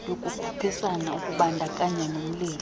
yokukhuphisana ukubandakanya nolimo